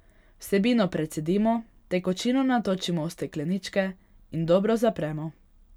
Vsebino precedimo, tekočino natočimo v stekleničke in dobro zapremo.